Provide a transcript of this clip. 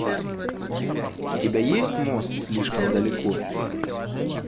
у тебя есть мост слишком далеко